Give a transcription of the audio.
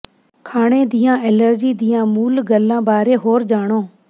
ਖਾਣੇ ਦੀਆਂ ਐਲਰਜੀ ਦੀਆਂ ਮੂਲ ਗੱਲਾਂ ਬਾਰੇ ਹੋਰ ਜਾਣੋ